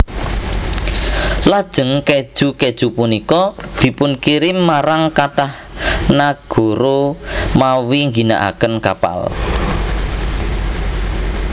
Lajeng kèju kèju punika dipunkirim marang kathah nagara mawi ngginakaken kapal